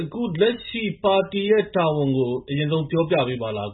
အခုလကျရှိ ပါတီရဲ့ တာဝနျကို အရငျဆုံး ပွောပွပေးပါလား။